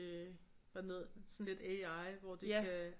Sådan lidt AI hvor at det kan